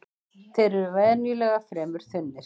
Þeir eru venjulega fremur þunnir